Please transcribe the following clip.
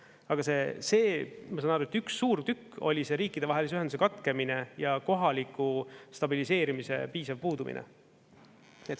Aga see, ma saan aru, et üks suur tükk oli see riikidevahelise ühenduse katkemine ja kohaliku stabiliseerimise piisav puudumine.